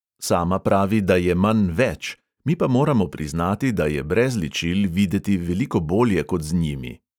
Sama pravi, da je manj več, mi pa moramo priznati, da je brez ličil videti veliko bolje kot z njimi.